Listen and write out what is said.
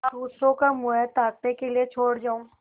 दूसरों का मुँह ताकने के लिए छोड़ जाऊँ